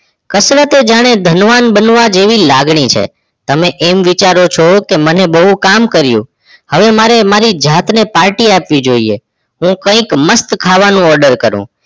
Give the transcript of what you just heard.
કસરત એ જાણે ધનવાન જેવી લાગણી છે તમે એમ વિચારો છો કે મને બહુ કામ કર્યું હવે મારે મારી જાત ને party આપવી જોઈએ હું કઈ મસ્ત ખાવાનું order કરું